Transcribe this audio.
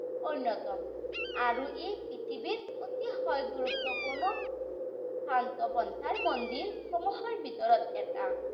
অন্যতম। আৰু ই পৃথিৱীৰ অতিশয় গুৰুত্বপূৰ্ণ শাক্তপন্থাৰ মন্দিৰৰ ভিতৰত এটা।